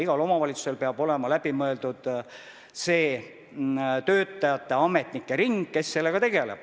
Igal omavalitsusel peab olema läbi mõeldud ametnike ja muude töötajate ring, kes sellega tegeleb.